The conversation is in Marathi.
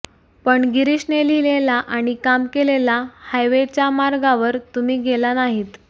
पण गिरीशने लिहिलेला आणि काम केलेला हायवेच्या मार्गावर तुम्ही गेला नाहीत